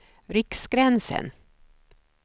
Riksgränsen